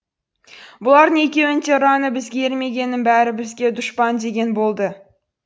бұлардың екеуінің де ұраны бізге ермегеннің бәрі бізге дұшпан деген болды